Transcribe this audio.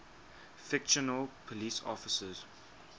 fictional police officers